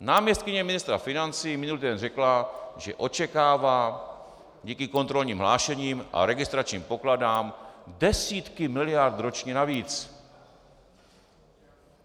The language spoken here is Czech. Náměstkyně ministra financí minulý týden řekla, že očekává díky kontrolním hlášením a registračním pokladnám desítky miliard ročně navíc.